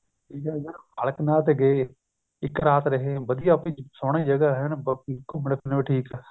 ਠੀਕ ਏ ਬਾਲਕ ਨਾਥ ਤੇ ਗਏ ਇੱਕ ਰਾਤ ਰਹੇ ਵਧੀਆ ਸੋਹਣੀ ਜਗ੍ਹਾ ਐਨ ਘੁੱਮਣ ਫਿਰਣ ਨੂੰ ਠੀਕ